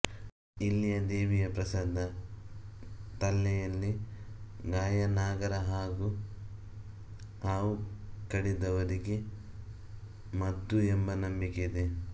ಇಲ್ಲಿಯ ದೇವಿಯ ಪ್ರಸಾದ ತಲ್ಲೆಯಲ್ಲಿ ಗಾಯನಾಗರಹಾಗೂ ಹಾವು ಕಡಿದವರಿಗೆ ಮದ್ದು ಎಂಬ ನಂಬಿಕೆ ಇದೆ